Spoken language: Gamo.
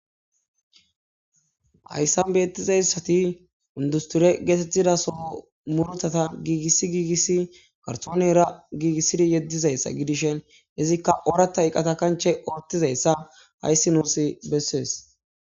Hayssan beettizayssati undusture geetettidaso murtata giigissi giigissi karsoone era giigissidi yeddizayssa gidishen izikka orata iqqata kanche oottizayssa hayssi nuus bessees.